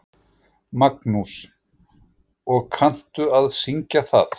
Magnús: Og kanntu að syngja það?